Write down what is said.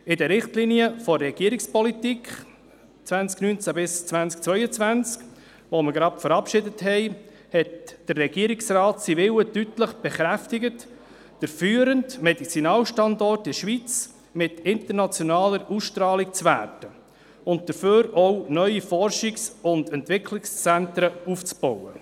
In den Richtlinien der Regierungspolitik 2019–2022, die wir eben verabschiedet haben, hat der Regierungsrat seinen Willen deutlich bekräftigt, führende Medizinalstandort in der Schweiz mit internationaler Ausstrahlung zu werden und zu diesem Zweck auch neue Forschungs- und Entwicklungszentren aufzubauen.